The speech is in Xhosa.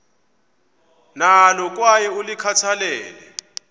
nalo kwaye ulikhathalele